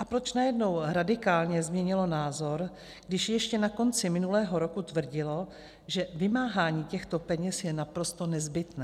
A proč najednou radikálně změnilo názor, když ještě na konci minulého roku tvrdilo, že vymáhání těchto peněz je naprosto nezbytné?